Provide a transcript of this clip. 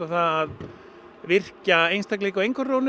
að virkja einstaklinga á